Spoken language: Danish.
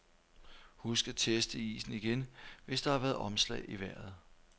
Husk at teste isen igen, hvis der har været omslag i vejret.